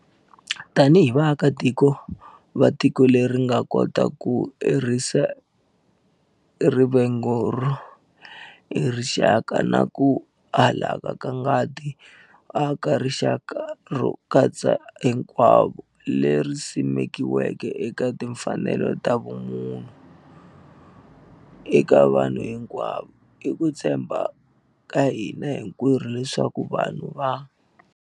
Tanihi vaakatiko va tiko leri nga kota ku herisa rivengo ro ya hi rixaka na ku halaka ka ngati no aka rixaka ro katsa hinkwavo leri simekiweke eka timfanelo ta ximunhu eka vanhu hinkwavo, i ku tshemba ka hina hinkwerhu leswaku vanhu va